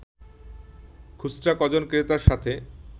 খুচরা কজন ক্রেতার সাথে